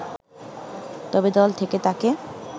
তবে দল থেকে তাকে